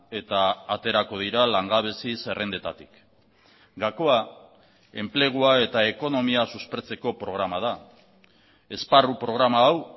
eta aterako dira langabezi zerrendetatik gakoa enplegua eta ekonomia suspertzeko programa da esparru programa hau